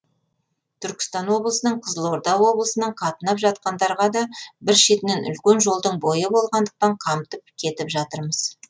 түркістан облысынан қызылорда облысынан қатынап жатқандарға да бір шетінен үлкен жолдың бойы болғандықтан қамтып кетіп жатырмыз